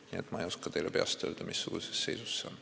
Nii et ma ei oska teile peast öelda, missuguses seisus see on.